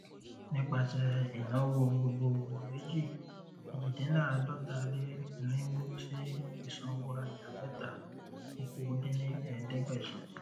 nipasẹ ìnáwó gbogboogbò méjì ejidinlaadọtaleirinwó sí isanworaja mẹta okòó dín ní ẹẹdẹgbẹsán